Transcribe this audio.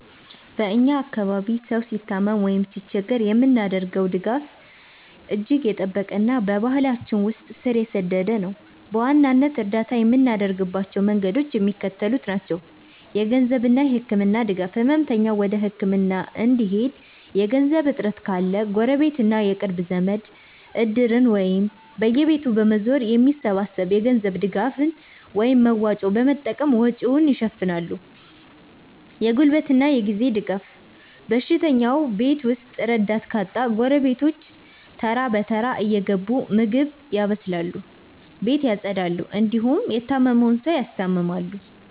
በ እኛ አካባቢ ሰው ሲታመም ወይም ሲቸገር የምናደርገው ድጋፍ እጅግ የጠበቀና በባህላችን ውስጥ ስር የሰደደ ነው። በዋናነት እርዳታ የምናደርግባቸው መንገዶች የሚከተሉት ናቸው -የገንዘብና የህክምና ድጋፍ፦ ህመምተኛው ወደ ህክምና እንዲሄድ የገንዘብ እጥረት ካለ፣ ጎረቤትና የቅርብ ዘመድ "እድር"ን ወይም በየቤቱ በመዞር የሚሰበሰብ የገንዘብ ድጋፍን (መዋጮ) በመጠቀም ወጪውን ይሸፍናሉ። የጉልበትና የጊዜ ድጋፍ፦ በሽተኛው ቤት ውስጥ ረዳት ካጣ፣ ጎረቤቶች ተራ በተራ እየገቡ ምግብ ያበስላሉ፣ ቤት ያፀዳሉ እንዲሁም የታመመውን ሰው ያስታምማሉ።